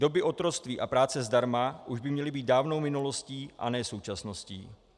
Doby otroctví a práce zdarma už by měly být dávnou minulostí a ne současností.